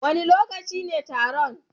Wane lokaci ne horon?